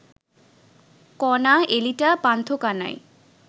Kona, Elita, Pantha Kanai